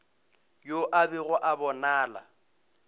yo a bego a bonala